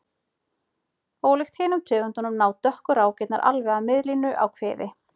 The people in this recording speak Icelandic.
Ólíkt hinum tegundunum ná dökku rákirnar alveg að miðlínu á kviði.